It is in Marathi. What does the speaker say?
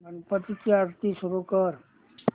गणपती ची आरती सुरू कर